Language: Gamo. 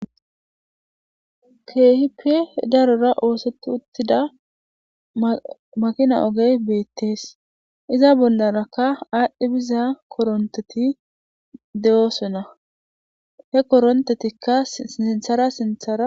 Keehipehe darora oosoti uttida makina ogey beettees iza bollarakka aadhdhi biza koronteti de'oosonna he korontetikka sinthara sinthara.